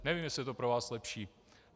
Nevím, jestli je to pro vás lepší.